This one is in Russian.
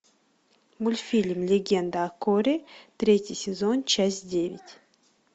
мультфильм легенда о корре третий сезон часть девять